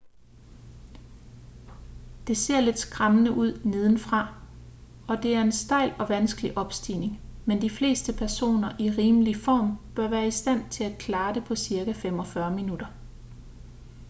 det ser lidt skræmmende ud nedenfra og det er en stejl og vanskelig opstigning men de fleste personer i rimelig form bør være i stand til at klare det på cirka 45 minutter